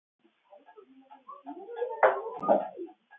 Finnst hún finna ör á hálsinum.